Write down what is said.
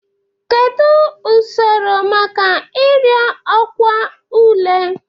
Kedu usoro maka ịrịọ ọkwa ule?